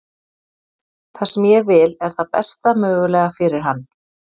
Það sem ég vil er það besta mögulega fyrir hann.